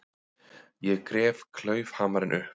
Ég gref klaufhamarinn upp.